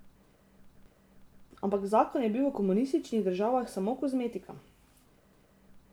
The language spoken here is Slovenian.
Ampak zakon je bil v komunističnih državah samo kozmetika.